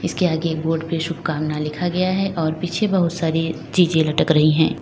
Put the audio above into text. इसके आगे बोर्ड पे शुभकामना लिखा गया है और पीछे बहुत सारी चीजे लटक रही है।